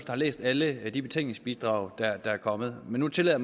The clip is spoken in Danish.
har læst alle af de betænkningsbidrag der er kommet men nu tillader